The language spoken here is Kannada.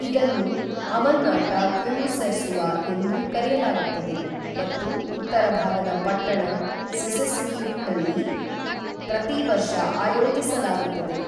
ಇದನ್ನು ಅವನ್ನಾಟ ಕ್ವಿಮುಸ್ಸೆರ್ಸುವಾ ಎಂದೂ ಕರೆಯಲಾಗುತ್ತದೆ ಮತ್ತು ಉತ್ತರ ಭಾಗದ ಪಟ್ಟಣ ಸಿಸಿಸ್ಮಿಯುಟ್ನಲ್ಲಿ ಪ್ರತಿ ವರ್ಷ ಆಯೋಜಿಸಲಾಗುತ್ತದೆ